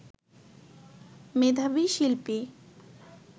মেধাবী শিল্পী